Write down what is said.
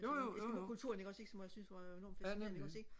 jo jo jo jo ja nemlig